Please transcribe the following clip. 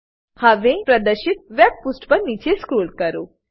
હવેપ્રદશિત web પુષ્ઠ પર નીચે સ્ક્રોલ કરો